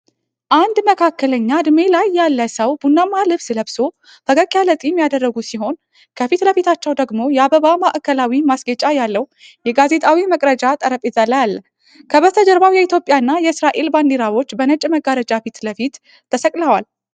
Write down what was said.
አንድ መካከለኛ ዕድሜ ላይ ያለ ሰው ቡናማ ልብስ ለብሶ፣ ፈገግ ያለ ፂም ያደረጉ ሲሆን፣ ከፊት ለፊታቸው ደግሞ የአበባ ማዕከላዊ ማስጌጫ ያለው የጋዜጣዊ መግለጫ ጠረጴዛ አለ። ከበስተጀርባው የኢትዮጵያና የእስራኤል ባንዲራዎች በነጭ መጋረጃ ፊት ለፊት ተሰቅለዋል።